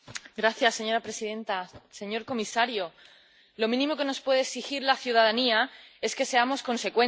Señora presidenta, señor comisario, lo mínimo que nos puede exigir la ciudadanía es que seamos consecuentes.